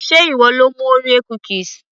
sé ìwọ lo mú orea cookies